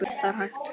Það er hægt.